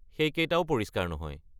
সেইকেইটাও পৰিষ্কাৰ নহয়।